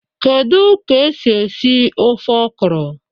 Kedu ka esi esi ofe okra?